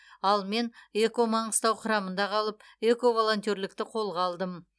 ал мен эко маңғыстау құрамында қалып эко волонтерлікті қолға алдым